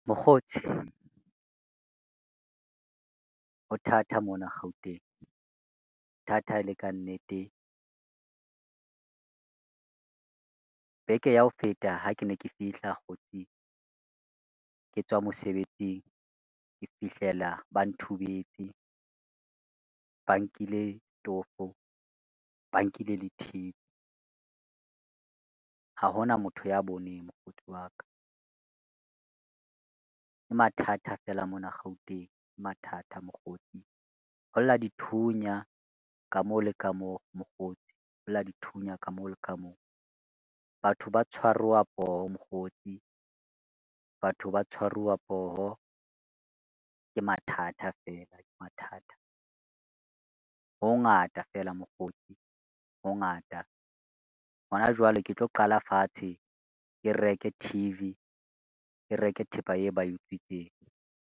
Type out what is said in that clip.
Mokgotsi, ho thata mona Gauteng ho thata e le ka nnete. Beke ya ho feta ha ke ne ke fihla hoseng ke tswa mosebetsing, ke fihlela ba nthubetse, ba nkile setofo, ba nkile le T_V ha hona motho ya bone mokgotsi wa ka. Ke mathata fela mona Gauteng, ke mathata mokgotsi holla dithunya ka mo le ka mo mokgotsi, holla dithunya ka mo le ka mo, batho ba tshwaruwa poho mokgotsi, batho ba tshwaruwa poho, ke mathata fela ke mathata, ho o ngata fela mokgotsi, ho ngata. Ho na jwale ke tlo qala fatshe, ke reke T_V ke reke thepa eo ba utswitseng.